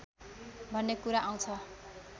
भन्ने कुरा आउँछ